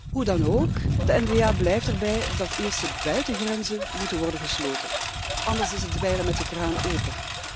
Hoe dan ook, de N VA blijft erbij dat eerst de buitengrenzen moeten worden gesloten, anders is het dweilen met de kraan open.